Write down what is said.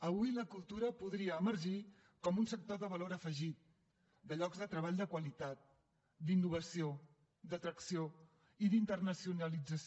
avui la cultura podria emergir com un sector de valor afegit de llocs de treball de qualitat d’innovació d’atracció i d’internacionalització